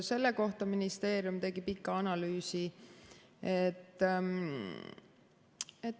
Selle kohta ministeerium tegi pika analüüsi.